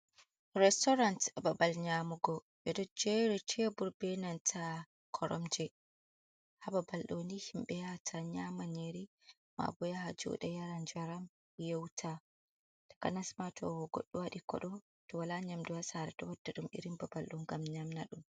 Restoran babal nyamugo, ɓe ɗo jeeri teebur be koromje, haa babal ɗooni himɓe yata nyama nyiri, maa bo yaha jooɗa yara njaram ye'uta, takanas ma to goɗɗo waɗi koɗo to wala nyamdu haa saare, too ɗo wadda ɗum irin babal ɗo ngam nyamna ɗum.